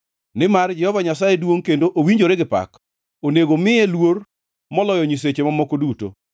Nimar Jehova Nyasaye duongʼ kendo owinjore gi pak; onego omiye luor moloyo nyiseche mamoko duto.